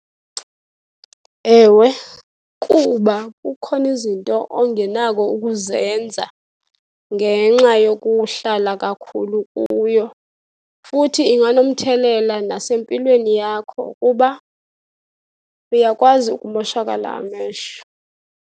Ewe, kuba kukhona izinto ongenakho ukuzenza ngenxa yokuhlala kakhulu kuyo, futhi inganomthelela nasempilweni yakho kuba uyakwazi ukumoshakala amehlo.